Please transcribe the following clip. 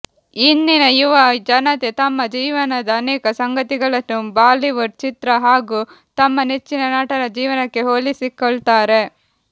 ಇಂದಿನ ಯುವ ಜನತೆ ತಮ್ಮ ಜೀವನದ ಅನೇಕ ಸಂಗತಿಗಳನ್ನು ಬಾಲಿವುಡ್ ಚಿತ್ರ ಹಾಗೂ ತಮ್ಮ ನೆಚ್ಚಿನ ನಟರ ಜೀವನಕ್ಕೆ ಹೋಲಿಸಿಕೊಳ್ತಾರೆ